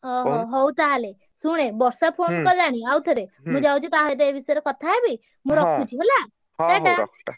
ହଉ ହଉ ହଉ ତାହେଲେ ଶୁଣୁ ହେ ବର୍ଷା phone କଲାଣି ଆଉଥରେ ମୁଁ ଯାଉଚି ତା ସହିତ ଏ ବିଷୟରେ କଥା ହେବି, ମୁଁ ରଖୁଛି ହେଲା।